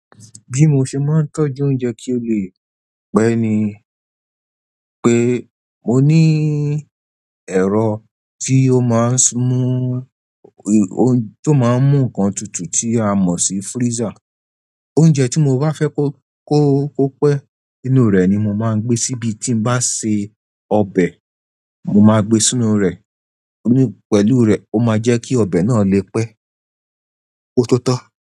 Bí mo ṣe máa ń tọ́jú oúnjẹ kí ó lè pẹ́ ni pé mo ní ẹ̀rọ tí ó máa ń mú, tó máa ń mú nǹkan tutù tí a mọ̀ sí freezer. Oúnjẹ tí mo bá fẹ́ kó, kó, kó pẹ́ nínú rẹ̀ ni mo máa ń gbé síbi tí ń bá ṣe ọbẹ̀, mo máa gbé sínú rẹ̀. Nínú, pẹ̀lú rẹ̀, ó máa jẹ́ kí ọbẹ̀ náà lè pẹ́ kótótó tán.